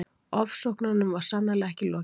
Ofsóknunum var sannarlega ekki lokið.